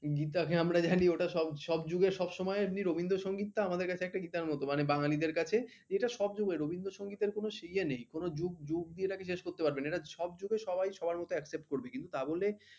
গীতাকে আমরা জানি ওটা সব যুগের সবসময়ের তেমনি রবীন্দ্রসঙ্গীত টা আমাদের কাছে একটা গীতার মত মানে বাঙ্গালীদের কাছে এটা সব যুগের রবীন্দ্র সংগীতের কোন ইয়ে নেই কোন যুগ দিয়ে এটাকে judge করতে পারবে না এটা সব যুগে সবাই সবার মত accept করবে কিন্তু তা বলে